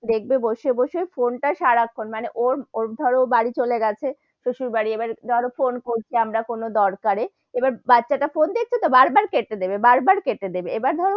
দেখবে বসে বসে ফোন টা সারাক্ষন মানে ওর, ওর ধরো বাড়ি চলে গেছে, তো সেই বাড়ি আবার ধরো ফোন করছি আমরা কোনো দরকারে এবার বাচ্চা টা ফোন দেখছে তো বার বার কেটে দেবে, বাবার বার কেটে দেবে, এবার ধরো,